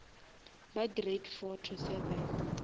ba grade four to seven